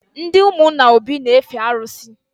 Ndị ụmụnna Obi n efe arụsị